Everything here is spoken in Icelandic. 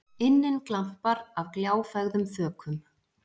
inninn glampar af gljáfægðum þökum.